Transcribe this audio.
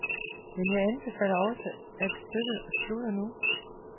Men jeg anbefaler også, at stykket slutter nu.